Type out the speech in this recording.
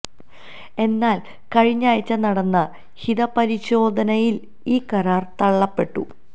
എന്നാല് കഴിഞ്ഞയാഴ്ച നടന്ന ഹിത പരിശോധനയില് ഈ കരാര് തള്ളപ്പെട്ടു